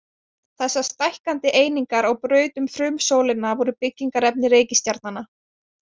Þessar stækkandi einingar á braut um frumsólina voru byggingarefni reikistjarnanna.